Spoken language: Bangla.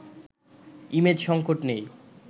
ইমেজ সংকট নেই